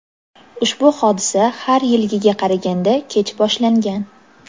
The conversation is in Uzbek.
ushbu hodisa har yilgiga qaraganda kech boshlangan.